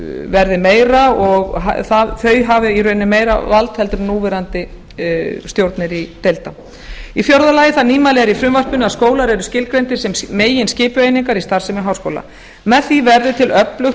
verði meira og þau hafi í rauninni meira vald heldur en núverandi stjórnir deilda fjórða það nýmæli er í frumvarpinu að skólar eru skilgreindir sem meginskipueiningar í starfsemi háskóla með því verður til öflugt